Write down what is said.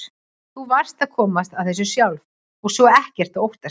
Þú varðst að komast að þessu sjálf og svo er ekkert að óttast.